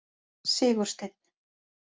Sigursteinn